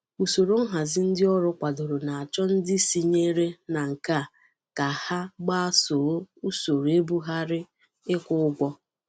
Usoro nhazi ndị ọrụ kwadoro na-achọ ndị sinyere na nke a ka ha gbasoo usoro ebughari ịkwụ ụgwọ.